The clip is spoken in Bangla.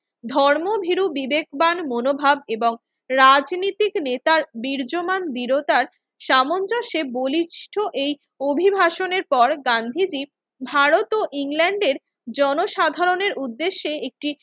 ধর্মভীরু বিবেকবান মনোভাব এবং রাজনৈতিক নেতার বিরাজমান বীরতার সামঞ্জস্যে বলিষ্ঠ এই অভিভাষণের পর গান্ধীজি ভারত ও ইংল্যান্ডের জনসাধারণের উদ্দেশ্যে একটি